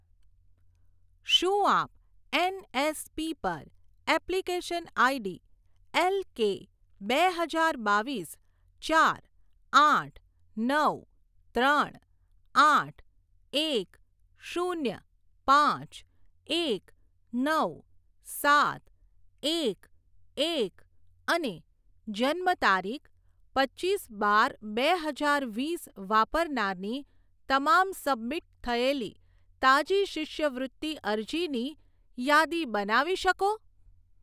શું આપ એનએસપી પર એપ્લિકેશન આઈડી એલકે બે હજાર બાવીસ ચાર આઠ નવ ત્રણ આઠ એક શૂન્ય પાંચ એક નવ સાત એક એક અને જન્મતારીખ પચીસ બાર બે હજાર વીસ વાપરનારની તમામ સબમિટ થયેલી તાજી શિષ્યવૃત્તિ અરજીની યાદી બનાવી શકો?